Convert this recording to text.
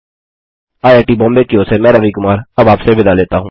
IIT Mumbai की ओर से मैं रवि कुमार अब आपसे विदा लेता हूँ